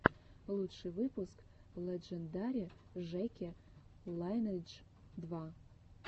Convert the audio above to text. лучший выпуск лэджендари жеки лайнэйдж два